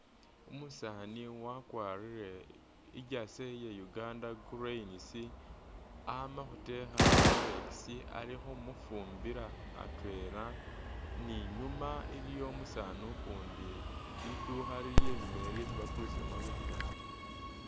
Umusani wakwarire I’jersey iya Uganda cranes , ama’khutekha Rolex ali’khumufumbila atwela ni nyuma iliwo umusani ukundi lidukha liliyo inyuma iyo lyesi bakulisilamo bya plastic .